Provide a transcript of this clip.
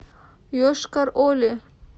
йошкар оле